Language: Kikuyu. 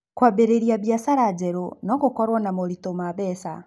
Kwambĩrĩria biacara njerũ no gũkorũo na moritũ ma mbeca.